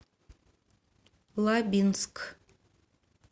лабинск